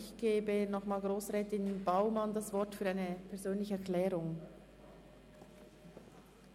Ich gebe nochmals Grossrätin Baumann für eine persönliche Erklärung